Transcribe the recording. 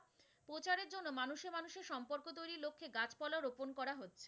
গোপন করা হচ্ছে,